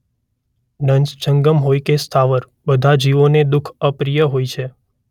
દંસ જંગમ હોય કે સ્થાવર બધા જીવોને દુખ અપ્રિય હોય છે.